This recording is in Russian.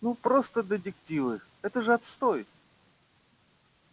ну просто детективы это же отстой